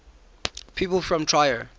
people from trier